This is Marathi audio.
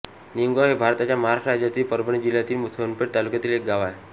निमगाव हे भारताच्या महाराष्ट्र राज्यातील परभणी जिल्ह्यातील सोनपेठ तालुक्यातील एक गाव आहे